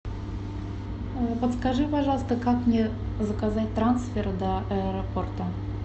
подскажи пожалуйста как мне заказать трансфер до аэропорта